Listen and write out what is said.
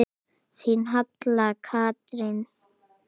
Þín Halla Katrín.